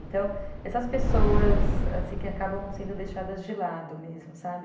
Então, essas pessoas assim, que acabam sendo deixadas de lado mesmo, sabe?